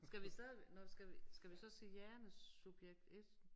Skal vi stadig nåh skal vi skal vi så sige Jane subjekt 1